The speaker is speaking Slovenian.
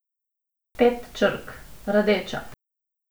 Pet črk: 'rdeča'.